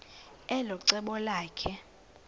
elo cebo lakhe